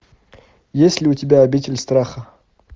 есть ли у тебя обитель страха